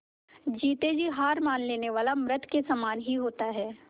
जीते जी हार मान लेने वाला मृत के ही समान होता है